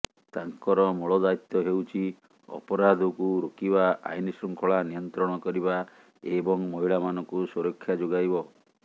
ତାଙ୍କର ମୂଳ ଦାୟିତ୍ୱ ହେଉଛି ଅପରାଧକୁ ରୋକିବା ଆଇନ ଶୃଙ୍ଖଳା ନିୟନ୍ତ୍ରଣ କରିବା ଏବଂ ମହିଳାମାନଙ୍କୁ ସୁରକ୍ଷା ଯୋଗାଇବ